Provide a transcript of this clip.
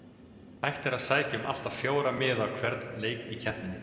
Hægt er að sækja um allt að fjóra miða á hvern leik í keppninni.